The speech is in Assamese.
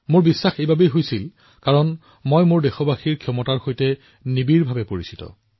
মোৰ এই বিশ্বাস আছিল কাৰণ মই মোৰ দেশ মোৰ দেশৰ জনসাধাৰণৰ সামৰ্থ্যৰ বিষয়ে ভালদৰে অৱগত